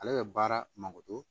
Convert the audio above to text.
Ale bɛ baara makoto